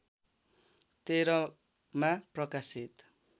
१३ मा प्रकाशित